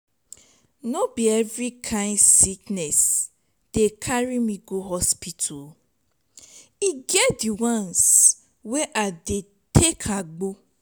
no be every kain sickness dey carry me go hospital e get di ones wey i dey take agbo.